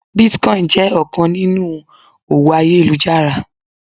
bitcoin jẹ ọkan ninu owó ayélujára